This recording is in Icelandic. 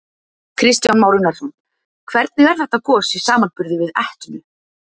Kristján Már Unnarsson: Hvernig er þetta gos í samanburði við Etnu?